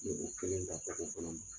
I bɛ kelen da kɔnɔna.